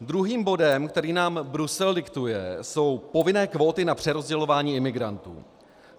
Druhým bodem, který nám Brusel diktuje, jsou povinné kvóty na přerozdělování imigrantů.